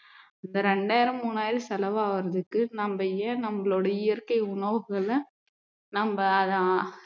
அந்த ரெண்டாயிரம் மூணாயிரம் செலவாகுறதுக்கு நம்ம ஏன் நம்மளுடைய இயற்கை உணவுகளை நம்ம ஆஹ்